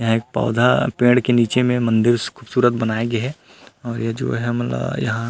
यहाँ एक पौधा पेड़ के निचे में मंदिर खूबसूरत बनाए गे हे और ये जो हे हमन ला--